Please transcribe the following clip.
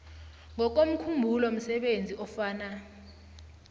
ngokomkhumbulo msebenzi ofana